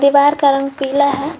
Wire का रंग पीला है।